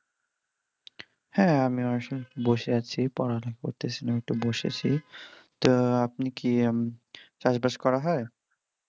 হ্যাঁ, আমি আসলে বসে আছি পড়াটা করতেছি একটু বসেছি তো আপনি কি চাষ বাষ করা হয়?